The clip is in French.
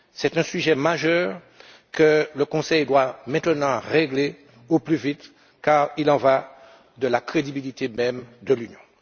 C'est un sujet majeur que le Conseil doit maintenant régler au plus vite car il en va de la crédibilité même de l'Union.